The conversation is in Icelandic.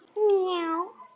Kjartan en vildi ekki skilja.